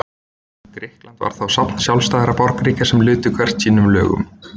Grikkland var þá safn sjálfstæðra borgríkja sem lutu hvert sínum lögum.